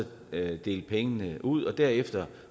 dele pengene ud og derefter